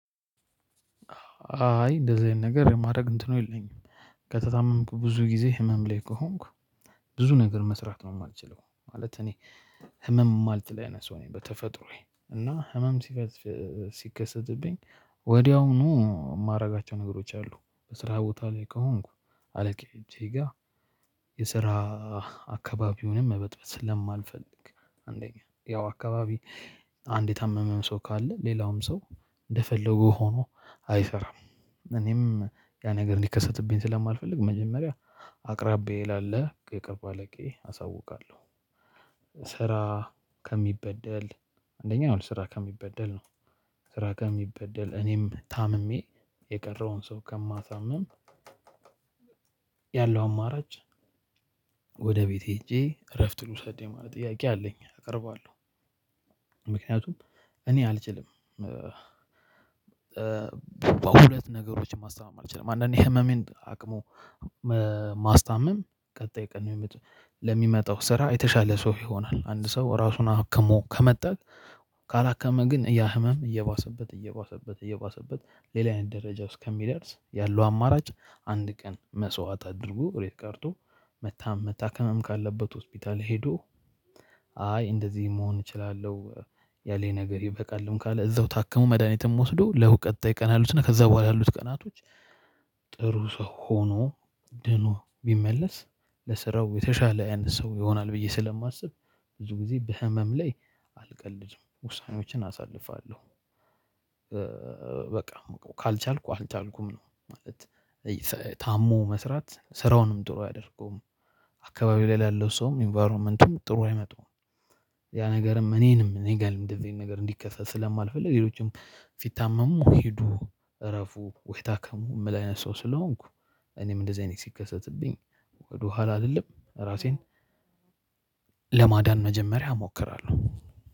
አይ እንደዚህ አይነት ነገር የማድረግ እንትኑ የለኝም ከተታመምኩ ብዙ ጊዜ ህመም ላይ ከሆንክ ብዙ ነገር መስራት ነው። የማልችለው ማለት እኔ። ህመም ማልችል አይነት ሰው ነኝ በተፈጥሮዬ እና ህመም ስከትፍ ሲከሰትብኝ ወዲያውኑ የማደርጋቸው ነገሮች አሉ። በስራ ቦታ ላይ ከሆንኩ አለቀ እጄ ጋር። የስራ አካባቢውንም መበጥበጥ ስለማልፈልግ አንደኛ ያው አካባቢ አንድ የታመመም ሰው ካለ ሌላውም ሰው እንደፈለገ ሆኖ አይሰራም። እኔም ያ ነገር እንዲከሰትብኝ ስለማልፈልግ መጀመሪያ አቅራቢየዬ ላለ የቅርብ አለቃዬ አሳውቃለሁ። ስራ ከሚበደል አንደኛ ያው ስራ ከሚበደል ነው። ስራ ከሚበደል እኔም ታምሜ የቀረውን ሰው ከማሳምም ያለው አማራጭ ወደ ቤት ሄጄ እረፍት ልውሰድ የማለት ጥያቄ አለኝ አቀርባለሁ። ምክንያቱም እኔ አልችልም። በ ሁለት ነገሮችን ማስታመም አልችልም አንዳንዴ ህመሜን አቅሙ መ ማስተመም ቀጣይ ቀን የሚመ ለሚመጣው ስራ የተሻለ ሰው ይሆናል። አንድ ሰው ራሱን አክሞ ከመጠጣ ካላከመ ግን ያ ህመም እየባሰበት እየባሰበት እየባሰበት ሌላ አይነት ደረጃ ውስጥ ከሚደርስ ያለው አማራጭ አንድ ቀን መስዋዕት አድርጎ እቤት ቀርቶ። መታ መታከምም ካለበት ሆስፒታል ሄዶ አይ እንደዚህ መሆን እችላለሁ። ያለኝ ነገር ይበቃልም ካለ እዛው ታክሞ መድሃኒትም ወስዶ ለው ቀጣይ ቀን ያሉትና ከዛ በኋላ ያሉት ቀናቶች። ጥሩ ሰው ሆኖ ድኖ ቢመለስ ለስራው የተሻለ ያንተ ሰው ይሆናል። ብዬ ስለማስብ ብዙ ጊዜ በህመም ላይ አልቀልድም ውሳኔዎችን አሳልፋለሁ። በቃ ካልቻልኩ አልቻልኩም ነው ማለት እይ ታሞ መስራት ስራውንም ጥሩ አያደርገውም። አካባቢው ላይ ላለው ሰውም ኢንቫይሮመንቱም ጥሩ አይመጡም። ያ ነገርም እኔንም እኔ ጋርም እንደዚህ አይነት ነገር እንዲከሰት ስለማልፈልግ ሌሎችም ሲታመሙ ሂዱ እረፉ ወይ ታከሙ እምል አይነት ሰው ስለሆንኩ። እኔም እንደዚህ አይነት ሲከሰትብኝ ወደኋላ አልልም ራሴን ለማዳን መጀመሪያ እሞክራለሁ።